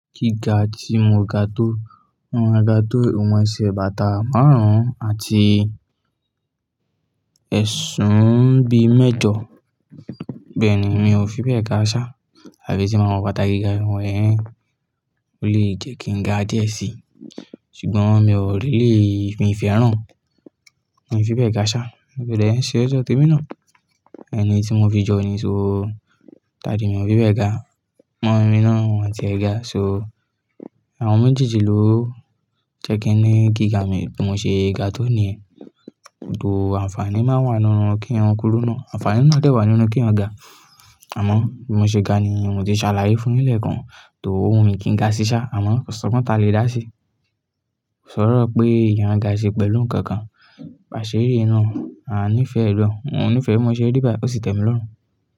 Gíga tí mo ga tó, mọ́ má ga tó ìwọ̀n ẹsẹ̀ bàtà márùn àti ẹ̀súún bí i mẹ́jọ. Bẹ́ẹ̀ ni, mi ò fi bẹ ga ṣá. Àbí tí màá wo bàtà gíga ìwọ̀n ẹ́, ó lè jẹ́ kí n ga díẹ̀ síi. Ṣùgbọ́n mi ò lè lé ìfẹ́ ẹran. Mi ò fi bẹ́ ga ṣá, gbọ́dọ̀ ẹ ṣe ọ̀jọ̀tí mi náà. Ẹni tí mo fi jọ ni so, daddy mi ò fi bẹ́ ga. Awon Ọmọ mi náà ń wọ̀ntì ẹ ga, so àwọn méjì jọ ló jẹ́ kí ẹ ní gíga mi, mo ṣe ga tó ní ẹ. Tó àǹfààní máa wà nínú kí wọn kúrú náà. Àǹfààní náà dẹ̀ wà nínú kí eyan ga. Àmọ́ bí mo ṣe ga ni mo tí ṣàlàyé fún yín lẹ́ẹ̀kan tó owu mi kí n ga sí ṣá, àmọ́ ko sogbon ta lè dá síi. Sọ̀rọ̀ pé ìyẹn ga ki ṣe pẹ̀lú ǹkan kan ba se ri nu. A níí fẹ ẹ̀dọ̀, wọ́n ò ní fẹ́ mú ẹ ṣe rí bá, ó sì tẹ̀mi lọ́run.